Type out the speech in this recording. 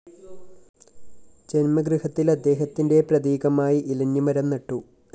ജന്മഗൃഹത്തില്‍ അദ്ദേഹത്തിന്റെ പ്രതീകമായി ഇലഞ്ഞി മരം നട്ടു